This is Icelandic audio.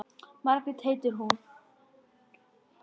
Margrét heitir hún.